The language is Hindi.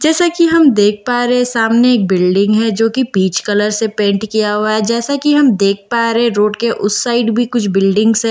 जैसा कि हम देख पा रहे सामने एक बिल्डिंग है जो कि पीच कलर से पेंट किया हुआ हे जैसा कि हम देख पा रहे रोड के उस साइड भी कुछ बिल्डिंग्स है।